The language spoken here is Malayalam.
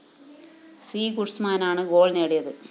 ഡി ഗുസ്മാനാണ് ഗോൾ നേടിയത്